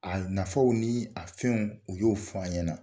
A nafaw ni a fɛnw u y'o f'an ɲɛna.